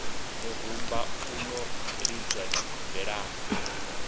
murumba u no lidzwa tshigombelani